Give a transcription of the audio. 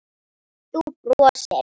Þú brosir.